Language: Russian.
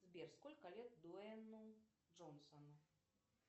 сбер сколько лет дуэнну джонсону